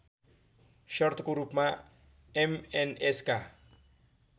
शर्तको रूपमा एमएनएसका